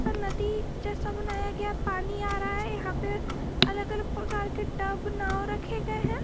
नदी जो पानी आ रहा है यहां पे अलग अलग प्रकार के टब नाव रखे गए हैं।